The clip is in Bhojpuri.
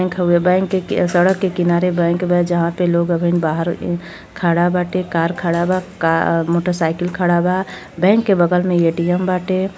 बैंक हवे। बैंक के- सड़क के किनारे बैंक बा जहाँ पे लोग अबहिन बाहर खड़ा बाटे। कार खड़ा बा का- मोटरसाइकिल खड़ा बा। बैंक के बगल में ए_टी_एम बाटे।